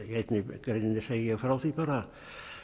í einni greininni segi ég frá því bara